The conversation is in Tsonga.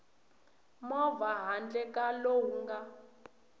movha handle ka lowu nga